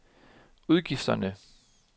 udgifterne